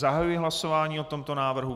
Zahajuji hlasování o tomto návrhu.